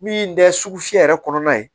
Min tɛ sugu fiyɛ yɛrɛ kɔnɔna ye